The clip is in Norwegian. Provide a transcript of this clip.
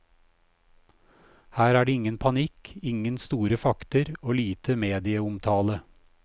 Her er det ingen panikk, ingen store fakter og lite medieomtale.